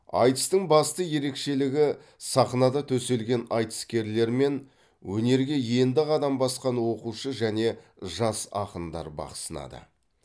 айтыстың басты ерекшелігі сахнада төселген айтыскерлер мен өнерге енді қадам басқан оқушы және жас ақындар бақ сынады